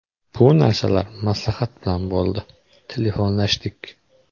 Bu narsalar maslahat bilan bo‘ldi, telefonlashdik.